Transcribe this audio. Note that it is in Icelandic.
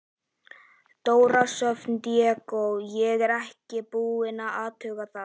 Dóra Sjöfn Diego: Ég er ekkert búin að athuga það?